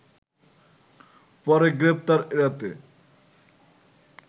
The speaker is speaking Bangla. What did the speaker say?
পরে গ্রেপ্তার এড়াতে